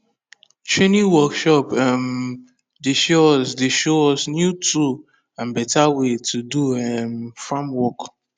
training workshop um dey show us dey show us new tool and better way to do um farm work